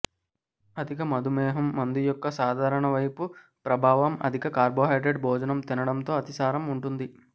అధిక మధుమేహం మందు యొక్క సాధారణ వైపు ప్రభావం అధిక కార్బోహైడ్రేట్ భోజనం తినడంతో అతిసారం ఉంటుంది